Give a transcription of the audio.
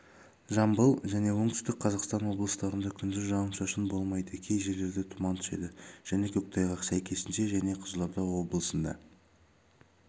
жамбыл жәнеоңтүстік қазақстан облыстарында күндіз жауын-шашын болмайды кей жерлерде тұман түседі және көктайғақ сәйкесінше және қызылордаоблысында